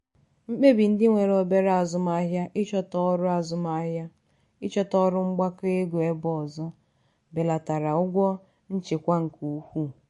mkpebi ndị nwere obere azụmahịa ịchọta ọrụ azụmahịa ịchọta ọrụ mgbakọ ego ebe ọzọ belatara ụgwọ nchịkwa nke ukwuu.